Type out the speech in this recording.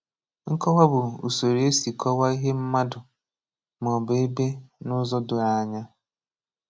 Nkọwa bụ usoro e si kọwaa ihe mmadụ ma ọ bụ ebe n’ụzọ doro anya.